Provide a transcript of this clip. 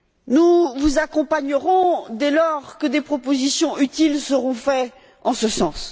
Nous vous accompagnerons, dès lors que des propositions utiles seront faites en ce sens.